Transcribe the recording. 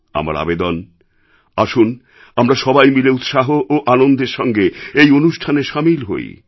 আমার আবেদন আসুন আমরা সবাই মিলে উৎসাহ এবং আনন্দের সঙ্গে এই অনুষ্ঠানে সামিল হই